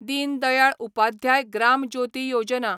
Deen Dayal Upadhyay Gram Jyoti Yojana